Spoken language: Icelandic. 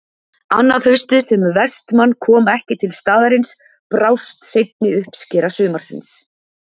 Annað haustið sem Vestmann kom ekki til staðarins brást seinni uppskera sumarsins.